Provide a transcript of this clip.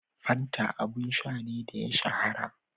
Fanta abun sha ne da ya shahara